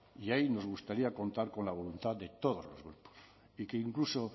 y ahí nos gustaría contar con la voluntad de todos los vascos y que incluso